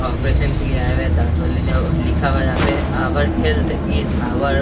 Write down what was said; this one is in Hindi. ऑपरेशन के लिए आए हुए हैं दांत वाले जहाँ लिखा हुआ हैं जहाँ पे ऑउर हेल्थ एज ऑउर --